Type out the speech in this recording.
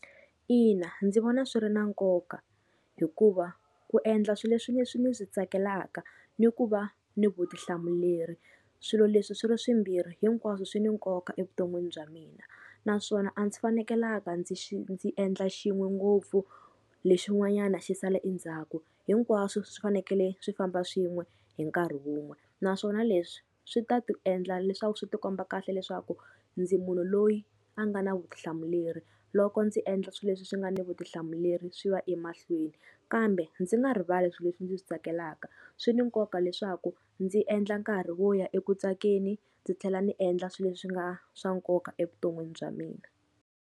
Ina ndzi vona swi ri na nkoka hikuva ku endla swilo leswi leswi ni swi tsakelaka ni ku va ni vutihlamuleri swilo leswi swi ri swimbirhi hinkwaswo swi ni nkoka evuton'wini bya mina, naswona a ndzi fanekelanga ndzi ndzi endla xin'we ngopfu lexin'wanyana xi sala endzhaku, hinkwaswo swi fanekele swi famba swin'we hi nkarhi wun'we. Naswona leswi swi ta tiendla leswaku swi tikomba kahle leswaku ndzi munhu loyi a nga na vutihlamuleri loko ndzi endla swilo leswi swi nga ni vutihlamuleri swi va emahlweni. Kambe ndzi nga rivali swilo leswi ndzi swi tsakelaka swi ni nkoka leswaku ndzi endla nkarhi wo ya eku tsakeni, ndzi tlhela ndzi endla swilo leswi swi nga swa nkoka evuton'wini bya mina.